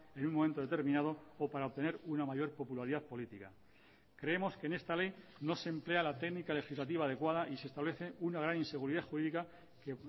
en un momento determinado o para obtener una mayor popularidad política creemos que en esta ley no se emplea la técnica legislativa adecuada y se establece una gran inseguridad jurídica que